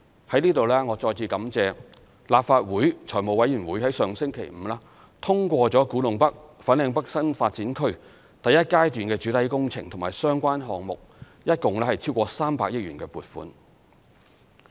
在這裏我再次感謝立法會財務委員會上星期五通過古洞北/粉嶺北新發展區第一階段的主體工程和相關項目一共超過300億元的撥款。